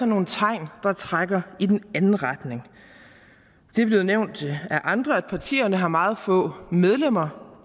nogle tegn der trækker i den anden retning det er blevet nævnt af andre at partierne har meget få medlemmer